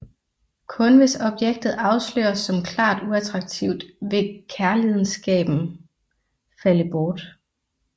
Kun hvis objektet afsløres som klart uattraktiv vil kærlidenskaben falde bort